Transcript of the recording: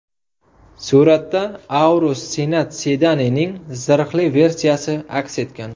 Suratda Aurus Senat sedanining zirhli versiyasi aks etgan.